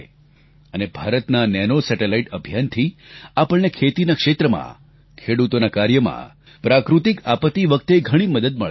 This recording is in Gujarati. અને ભારતના આ નેનો સેટેલાઇટ અભિયાનથી આપણને ખેતીના ક્ષેત્રમાં ખેડૂતોના કાર્યમાં પ્રાકૃતિક આપત્તિ વખતે ઘણી મદદ મળશે